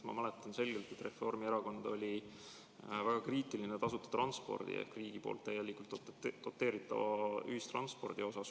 Ma mäletan selgelt, et Reformierakond oli väga kriitiline tasuta transpordi ehk täielikult riigi doteeritava ühistranspordi suhtes.